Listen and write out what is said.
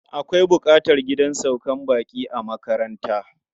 Akwai buƙatar gidan saukar baƙi a makaranta.